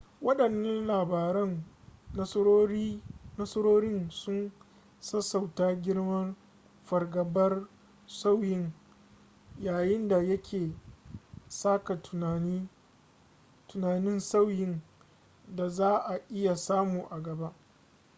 wadannan labaran nasarorin sun sassauta girman fargabar sauyin yayin da yake saka tunanin sauyin da za a iya samu a gaba